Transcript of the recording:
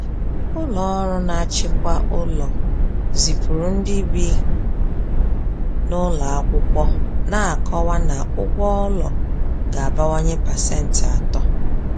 Ụlọ ọrụ na-achịkwa ụlọ zipụrụ ndị bi n’ụlọ akwụkwọ na-akọwa na ụgwọ ụlọ ga-abawanye pasent atọ.